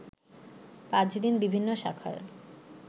পাঁচ দিন বিভিন্ন শাখার